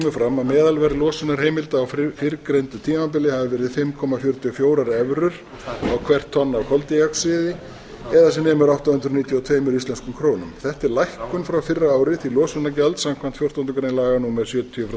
fram að meðalverð losunarheimilda á fyrrgreindu tímabili hafi verið fimm komma fjörutíu og fjórar evrur á hvert tonn af koldíoxíði eða sem nemur átta hundruð níutíu og tveimur íslenskum krónum þetta er lækkun frá fyrra ári til losunargjald samkvæmt fjórtándu grein laga númer sjötíu tvö